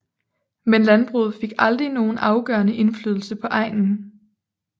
Men landbruget fik aldrig nogen afgørende indflydelse på egnen